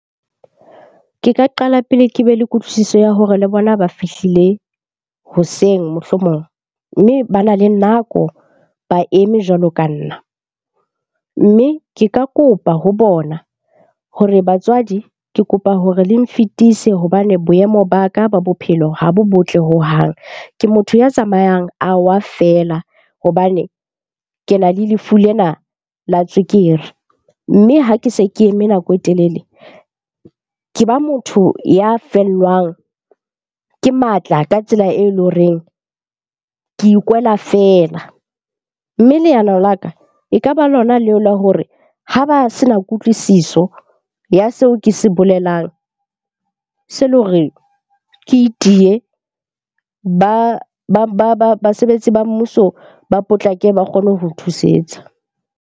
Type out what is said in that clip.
Ke ka qala pele ke be le kutlwisiso ya hore le bona ba fihlile hoseng mohlomong, mme bana le nako ba eme jwalo ka nna. Mme ke ka kopa ho bona hore batswadi ke kopa hore le nfetise hobane boemo ba ka ba bophelo ha bo botle hohang. Ke motho ya tsamayang a wa feela hobane ke na le lefu lena la tswekere. Mme ha ke se ke eme nako e telele ke ba motho ya fellwang ke matla ka tsela e leng horeng ke ikwela feela. Mme leano la ka e kaba lona leo la hore ha ba sena kutlwisiso ya seo ke se bolelang, se le hore ke itiye. Basebetsi ba mmuso ba potlake ba kgone ho thusetsa.